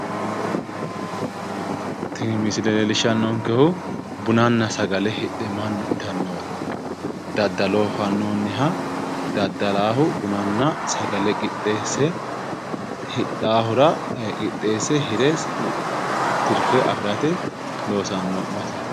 Tini misile leellishshannonkehu bunanna sagale hidhe mannu itannowa daddaloho fannoonniha daddalaahu bunanna sagale qixxeesse hidhaahura qixxeesse tirfe afirate loosanno baseeti.